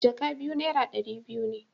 jaka biyu naira dari biyu ne.